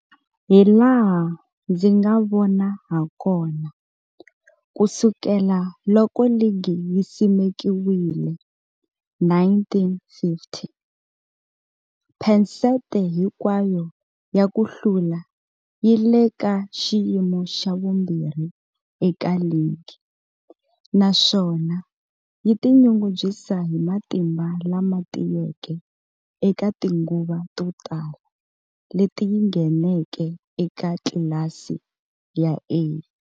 Hilaha ndzi nga vona hakona, ku sukela loko ligi yi simekiwile, 1950, phesente hinkwayo ya ku hlula yi le ka xiyimo xa vumbirhi eka ligi, naswona yi tinyungubyisa hi matimba lama tiyeke eka tinguva to tala leti yi ngheneke eka tlilasi ya A.